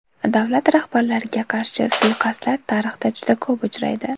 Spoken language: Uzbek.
Davlat rahbarlariga qarshi suiqasdlar tarixda juda ko‘p uchraydi.